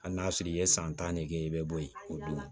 Hali n'a sɔrɔ i ye san tan ne kɛ i bɛ bɔ yen o dun